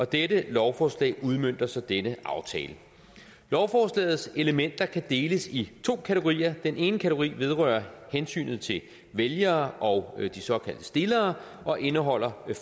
dette lovforslag udmønter så denne aftale lovforslagets elementer kan deles i to kategorier den ene kategori vedrører hensynet til vælgere og de såkaldte stillere og indeholder